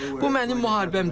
Bu mənim müharibəm deyil.